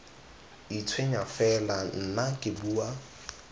itshwenya fela nna ke bua